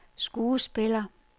skuespiller